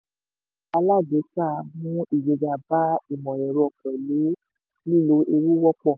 iṣẹ́ alágbèéká mú ìgbéga bá ìmọ̀-ẹ̀rọ pẹ̀lú lílò ewu wọ́pọ̀.